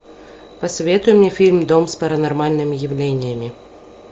посоветуй мне фильм дом с паранормальными явлениями